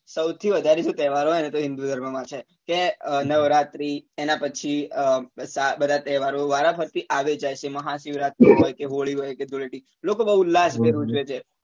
સૌથી વધારે જે તહેવાર હોય ને તો હિંદુ ધર્મ માં છે કે અ નવરાત્રી એના પછી અ બધા તહેવારો વારાફરથી આવે જ જાય છે મહાશિવરાત્રિ હોય કે હોળી હોય કે ધૂળેટી લોકો બઉ ઉલ્લાસ ભેર ઉજવે છે